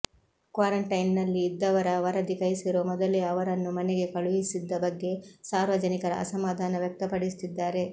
ಕ್ವಾರಂಟೈನ್ನಲ್ಲಿ ಇದ್ದವರ ವರದಿ ಕೈಸೇರುವ ಮೊದಲೇ ಅವರನ್ನು ಮನೆಗೆ ಕಳುಹಿಸಿದ್ದ ಬಗ್ಗೆ ಸಾರ್ವಜನಿಕರ ಅಸಮಾಧಾನ ವ್ಯಕ್ತಪಡಿಸುತ್ತಿದ್ದಾರೆ